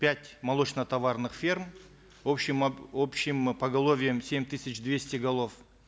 пять молочно товарных ферм общим общим поголовьем семь тысяч двести голов